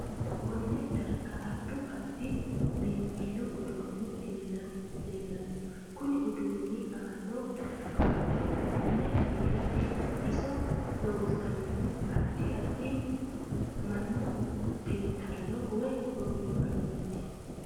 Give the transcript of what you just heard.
Kone darga addu addi biinfillu uduuni leelanno kuni uduuni aanno kaa'lo mine fiirateeti iso loonsoonihu addi addi mannu xinxalo woy ogimmaniiti